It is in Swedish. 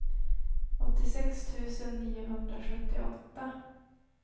åttiosex tusen niohundrasjuttioåtta